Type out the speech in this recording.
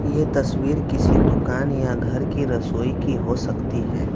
ये तस्वीर किसी दुकान या घर की रसोई की हो सकती हैं।